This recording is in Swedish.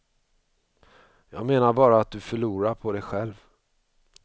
Jag menar bara att du förlorar på det själv.